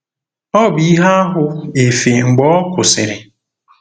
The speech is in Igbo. Ọ bụ ihe ahụ efe mgbe ọ kwụsịrị. ”